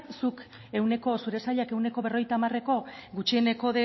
zure sailak ehuneko berrogeita hamareko gutxieneko